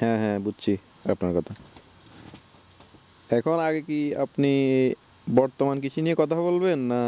হ্যাঁ হ্যাঁ বুঝছি আপনার কথা এখন আগে কি আপনি বর্তমান কৃষি নিয়ে কথা বলবেন না